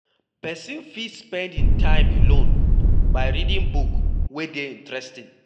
Person fit spend im time alone by reading book wey dey interesting